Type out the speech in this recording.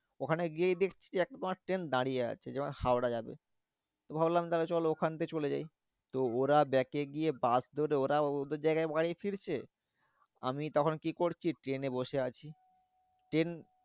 ওখানে গিয়ে দেখছি একেবারে ট্রেন দাঁড়িয়ে আছে যে হাওড়া যাবে। ভাবলাম তাহলে চল ওখান থেকে চলে যাই তো ওরা back এ গিয়ে বাস ধরে ওরাও ওদের জায়গায় ফিরছে। আমি তখন কি করছি? ট্রেনে বসে আছি। ট্রেন